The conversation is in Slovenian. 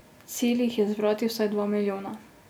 Cilj jih je zbrati vsaj dva milijona.